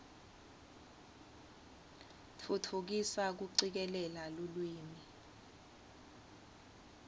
tfutfukisa kucikelela lulwimi